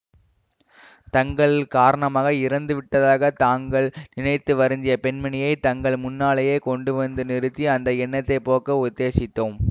தங்கள் காரணமாக இறந்து விட்டதாக தாங்கள் நினைத்து வருந்திய பெண்மணியைத் தங்கள் முன்னாலேயே கொண்டு வந்து நிறுத்தி அந்த எண்ணத்தை போக்க உத்தேசித்தோம்